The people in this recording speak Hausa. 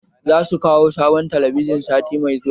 Za su kawo sabon talabijin sati mai zuwa